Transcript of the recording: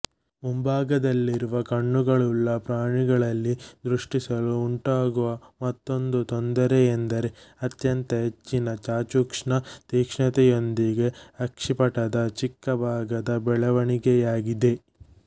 ಮುಂಭಾಗದಲ್ಲಿರುವ ಕಣ್ಣುಗಳ್ಳುಳ್ಳ ಪ್ರಾಣಿಗಳಲ್ಲಿ ದೃಷ್ಟಿಸಲು ಉಂಟಾಗುವ ಮತ್ತೊಂದು ತೊಂದರೆಯೆಂದರೆ ಅತ್ಯಂತ ಹೆಚ್ಚಿನ ಚಾಕ್ಷುಷ ತೀಕ್ಷ್ಣತೆಯೊಂದಿಗೆ ಅಕ್ಷಿಪಟದ ಚಿಕ್ಕ ಭಾಗದ ಬೆಳವಣಿಗೆಯಾಗಿದೆ